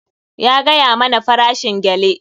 Ya gaya mana farashin gele.